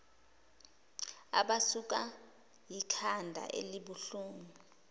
abasukwa yikhanda elibuhlungu